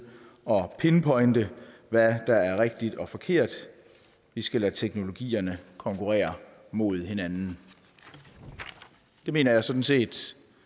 pinpointe hvad der er rigtigt og forkert vi skal lade teknologierne konkurrere mod hinanden det mener jeg sådan set